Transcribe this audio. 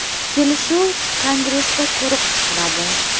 Kelishuv kongressda ko‘rib chiqiladi.